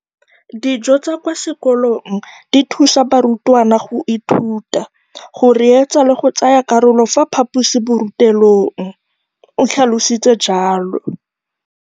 Dijo tsa kwa sekolong dithusa barutwana go ithuta, go reetsa le go tsaya karolo ka fa phaposiborutelong, o tlhalositse jalo.